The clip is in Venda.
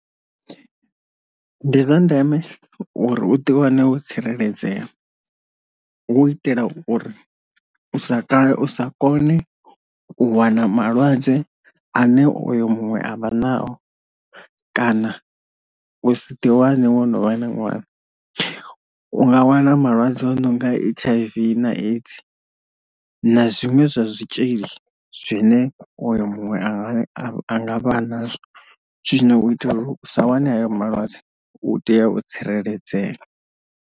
Ndi zwa ndeme uri uḓi wane wo tsireledzea, hu u itela uri sa u sa kone u wana malwadze ane oyo muṅwe avha nao kana u si ḓi wane wo no vha na ṅwana, u nga wana malwadze a no nga H_I_V na AIDS na zwinwe zwa zwitshili zwine oyo muṅwe ane a nga vha a nazwo, zwino u itela uri usa wane hayo malwadze u tea u tsireledzea.